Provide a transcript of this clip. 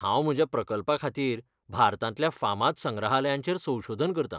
हांव म्हज्या प्रकल्पाखातीर भारतांतल्या फामाद संग्रहालयांचेर संशोधन करतां.